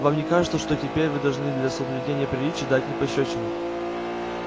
вам не кажется что теперь вы должны для соблюдения приличий дать мне пощёчину